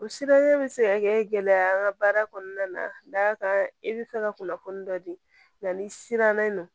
O siranya be se ka kɛ gɛlɛya ye an ka baara kɔnɔna na da kan i bɛ fɛ ka kunnafoni dɔ di n'i siranna n nɔ